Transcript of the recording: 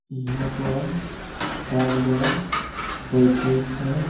इहां पर डागडर बैठे छै।